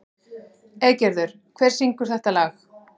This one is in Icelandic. Eygerður, hver syngur þetta lag?